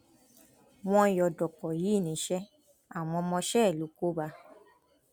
wọn yọ dọpọ yìí níṣẹ àwọn ọmọọṣẹ ẹ ló kó bá a